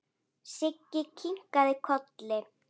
Siggi kinkaði kolli.